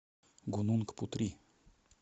гунунг путри